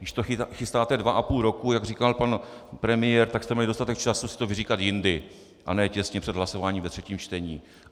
Když to chystáte dva a půl roku, jak říkal pan premiér, tak jste měli dostatek času si to vyříkat jindy a ne těsně před hlasováním ve třetím čtení.